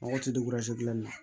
Mɔgɔ tɛ gilan na